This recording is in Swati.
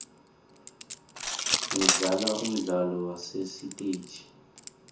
ngidlala umdlalo wasesitegi